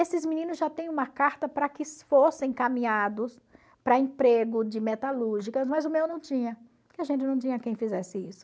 Esses meninos já têm uma carta para que fossem encaminhados para emprego de metalúrgicas, mas o meu não tinha, porque a gente não tinha quem fizesse isso.